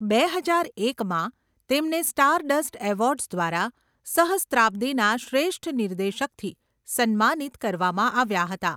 બે હજાર એકમાં, તેમને સ્ટારડસ્ટ એવોર્ડ્સ દ્વારા 'સહસ્ત્રાબ્દીના શ્રેષ્ઠ નિર્દેશક'થી સન્માનિત કરવામાં આવ્યા હતા.